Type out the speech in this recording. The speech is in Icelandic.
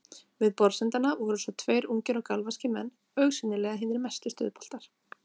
Við borðsendana voru svo tveir ungir og galvaskir menn, augsýnilega hinir mestu stuðboltar.